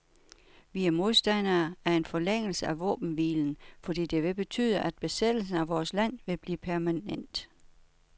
Vi er modstandere af en forlængelse af våbenhvilen, fordi det vil betyde, at besættelsen af vores land vil blive permanent.